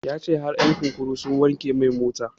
Ya ce har ƴan kurkuku sun wanke mai mota